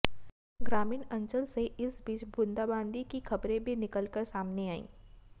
ग्रामीण अंचल से इस बीच बूदांबांदी की खबरें भी निकलकर सामने आईं